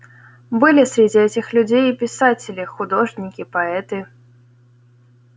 были среди этих людей и писатели художники поэты